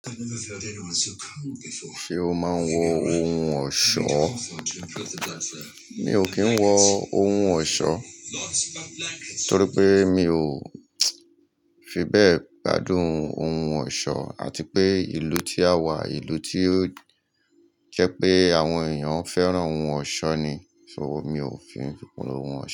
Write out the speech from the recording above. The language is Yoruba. Ṣé o máa ń wọ ohun ọ̀ṣọ́? Mi ò kí ń wọ ohun ọ̀ṣọ́ torí pé mi ò fi bẹ́ẹ̀ gbádùn ohun ọ̀ṣọ́ àti pé ìlú tí a wà, ìlú tí ó jẹ́ pé àwọn èèyàn fẹ́ràn ohun ọ̀ṣọ́ ni, so, mi ò fe ohun ọ̀ṣọ́